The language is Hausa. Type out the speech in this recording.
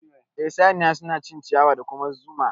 Eh saniya suna cin ciyawa da kuma zumu ma